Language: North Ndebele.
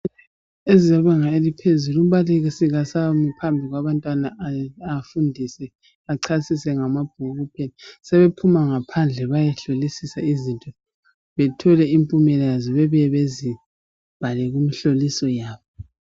Ezebanga eliphezulu umbalisi kasami phambi kwabantwana afundise achasise ngamabhuku sebephuma ngaphandle bayehlolisisa izinto bethole impumela yazo babuye bazibhale kumhloliso yabo.